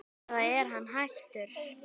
eða er hann hættur?